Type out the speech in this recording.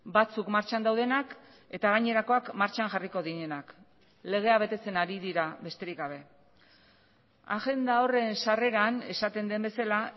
batzuk martxan daudenak eta gainerakoak martxan jarriko direnak legea betetzen ari dira besterik gabe agenda horren sarreran esaten den bezala